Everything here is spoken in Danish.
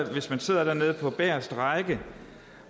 hvis man sidder dernede på bageste række